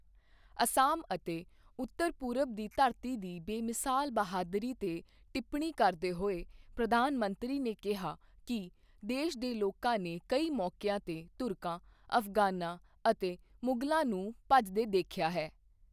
ਅਸਾਮ ਅਤੇ ਉੱਤਰ ਪੂਰਬ ਦੀ ਧਰਤੀ ਦੀ ਬੇਮਿਸਾਲ ਬਹਾਦਰੀ ਤੇ ਟਿੱਪਣੀ ਕਰਦੇ ਹੋਏ, ਪ੍ਰਧਾਨ ਮੰਤਰੀ ਨੇ ਕਿਹਾ ਕੀ ਦੇਸ਼ ਦੇ ਲੋਕਾਂ ਨੇ ਕਈ ਮੌਕੀਆਂ ਤੇ ਤੁਰਕਾਂ, ਅਫ਼ਗ਼ਾਨਾਂ ਅਤੇ ਮੁਗ਼ਲਾਂ ਨੂੰ ਭਜਦੇ ਦੇਖਿਆ ਹੈ।